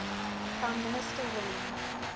prime minister william